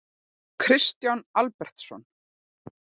Kristján Albertsson.